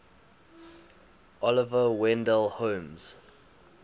oliver wendell holmes